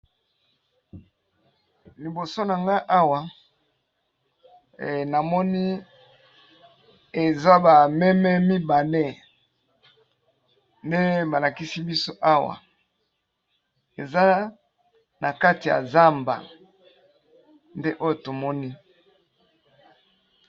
Liboso na nga awa namoni eza ba meme mibale, nde ba lakisi biso awa eza na kati ya zamba nde oyo tomoni.